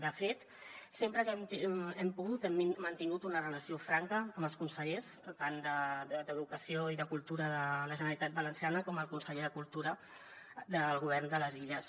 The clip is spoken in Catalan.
de fet sempre que hem pogut hem mantingut una relació franca amb els consellers tant d’educació i de cultura de la generalitat valenciana com el conseller de cultura del govern de les illes